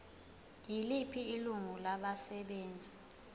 yiliphi ilungu labasebenzi